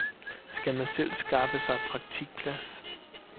Skal man selv skaffe sig praktikplads?